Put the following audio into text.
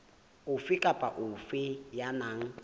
ofe kapa ofe ya nang